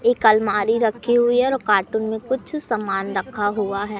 एक अलमारी रखी हुई है और कार्टून मे कुछ सामान रखा हुआ है।